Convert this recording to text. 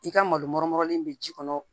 I ka malo in bɛ ji kɔnɔ